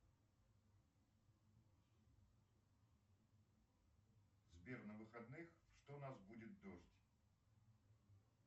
сбер на выходных что у нас будет дождь